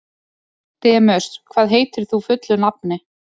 Demus, hvað heitir þú fullu nafni?